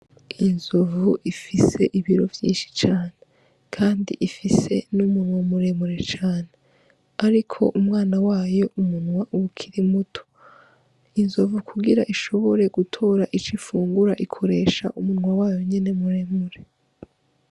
Inzovu ifise ibiro vyishi cane kandi ifise umunwa muremure cane ariko imwana wayo umunwa uba ukiri muto inzovu kugira ishobore gutora ico ifungura ikoresha umunwa wayo nyene muremure.